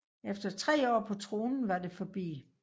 Efter tre år på tronen var det forbi